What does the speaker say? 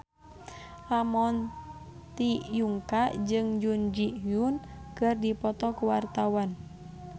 Ramon T. Yungka jeung Jun Ji Hyun keur dipoto ku wartawan